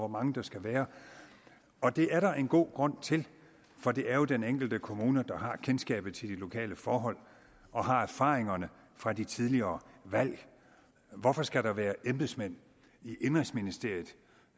mange der skal være og det er der en god grund til for det er jo den enkelte kommune der har kendskabet til de lokale forhold og har erfaringerne fra de tidligere valg hvorfor skal der være embedsmand i indenrigsministeriet